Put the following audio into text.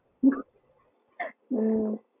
ஹம் ஹம்